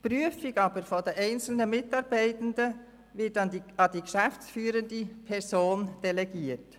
Die Prüfung einzelner Mitarbeitenden wird an die geschäftsführende Person delegiert.